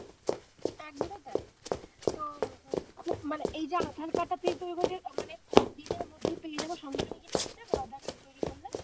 একদমই তাই তো উম খুব মানে এই যে আধার কার্ড তা তুই বলছিস কতদিনের মধ্যে পেয়ে যাবো? সঙ্গে সঙ্গে পেয়ে যাবো আধার কার্ড টা তৈরী করলে?